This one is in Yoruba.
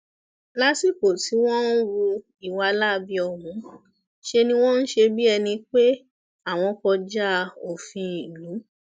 lásìkò tí wọn ń hu ìwà láabi ọhún ṣe ni wọn ń ṣe bíi ẹni pé àwọn kọjá òfin ìlú